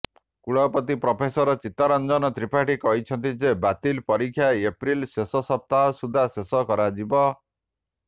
କୁଳପତି ପ୍ରଫେସର ଚିତ୍ତରଞ୍ଜନ ତ୍ରିପାଠୀ କହିଛନ୍ତି ଯେ ବାତିଲ ପରୀକ୍ଷା ଏପ୍ରିଲ ଶେଷ ସପ୍ତାହ ସୁଦ୍ଧା ଶେଷ କରାଯିବ